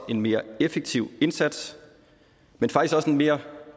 en mere effektiv indsats men faktisk også en mere